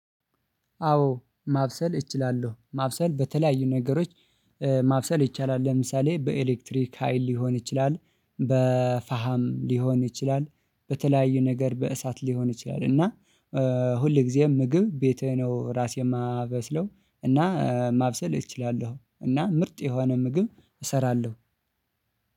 አዎ ማብሰል እችላለሁ ማብሰል በተለያዩ ነገሮች ማብሰል ይቻላል። ለምሳሌ በኤሌክትሪክ ሀይል ሊሆን ይችላል በፋሃም ሊሆን ይችላል በተለያዩ ነገር በእሳት ሊሆን ይችላል። እና። ሁል ጊዜም ምግብ ቤቴ ነው ራሴን የማበስለው እና ማብሰል እችላለሁ እና ምርጥ የሆነ ምግብ እሰራለሁ።